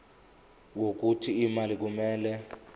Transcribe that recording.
wokuthi imali kumele